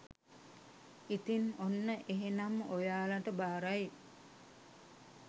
ඉතින් ඔන්න එහෙනම් ඔයාලට බාරයි